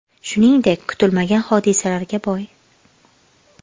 Shuningdek, kutilmagan hodisalarga boy.